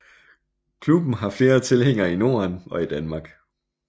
Klubben har flere tilhængere i Norden og i Danmark